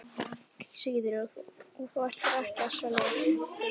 Sigríður: Og þú ætlar ekki að selja þau?